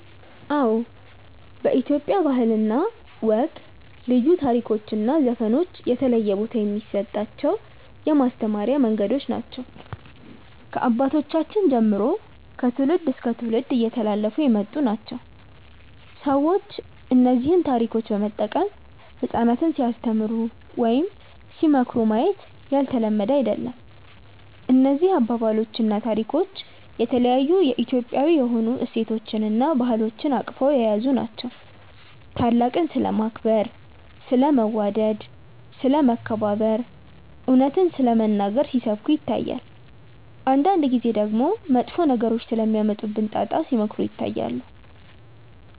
አዎ በኢትዮጵያ ባህል እና ወግ ልዩ ታሪኮች እና ዘፈኖች የተለየ ቦታ የሚሰጣቸው የማስተማሪያ መንገዶች ናቸው። ከአባቶቻችን ጀምሮ ከትውልድ እስከ ትውልድ እየተላለፉ የመጡ ናቸው። ሰዎች እነዚህን ታሪኮች በመጠቀም ህጻናትን ሲያስተምሩ ወይም ሲመካከሩ ማየት ያልተለመደ አይደለም። እነዚህ አባባሎች እና ታሪኮች የተለያዩ የኢትዮጵያዊ የሆኑ እሴቶችን እና ባህሎችን አቅፈው የያዙ ናቸው። ታላቅን ስለማክበር፣ ስለ መዋደድ፣ ስለ መከባበር፣ እውነትን ስለመናገር ሲሰብኩ ይታያል። አንዳንድ ጊዜ ደግሞ መጥፎ ነገሮች ስለሚያመጡብን ጣጣ ሲመክሩ ይታያሉ።